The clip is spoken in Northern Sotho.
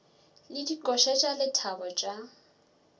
le dikoša tša lethabo tša